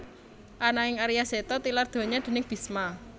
Ananging Arya Seta tilar donya déning Bisma